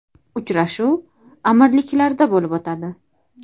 Uchrashuv Amirliklarda bo‘lib o‘tadi.